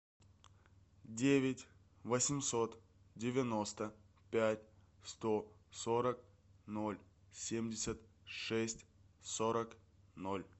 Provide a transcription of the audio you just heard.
девять восемьсот девяносто пять сто сорок ноль семьдесят шесть сорок ноль